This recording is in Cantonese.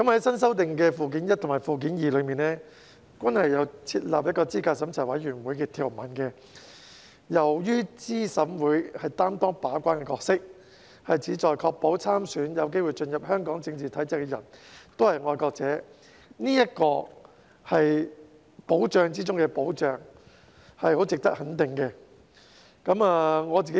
新修訂的《基本法》附件一及附件二均有設立資審會的條文，由於資審會擔當把關的角色，旨在確保參選、有機會進入香港政治體制的人都是愛國者，這是保障中的保障，是很值得肯定的。